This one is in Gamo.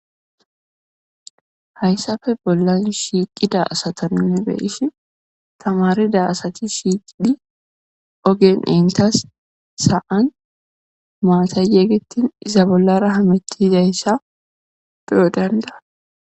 hayssafe bollan shiiqida asatanine be'ishi tamarida asati shiiqidhi ogen intas sa'an maatay yeegettin iza bollara hamitizayssa beyo danda'os